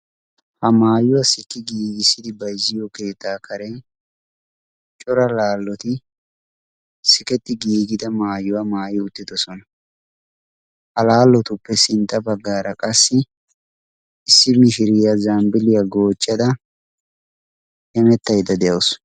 ha maayuwaa sikki giigissidi baizziyo keettaa kare cora laalloti siketti giigida maayuwaa maay uttidosona ha laallotuppe sintta baggaara qassi issi mishiriyaa zambbiiliyaa goochchada hemettaida de7awusu